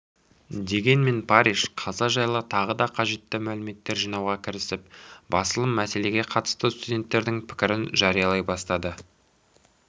дегенмен парриш қаза жайлы тағы да қажетті мәліметтер жинауға кірісіп басылым мәселеге қатысты студенттердің пікірін жариялай бастады